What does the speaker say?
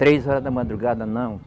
Três horas da madrugada, não.